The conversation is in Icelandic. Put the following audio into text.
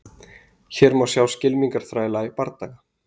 Hér má sjá skylmingaþræla í bardaga.